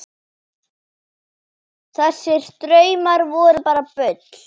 Þessir draumar voru bara bull.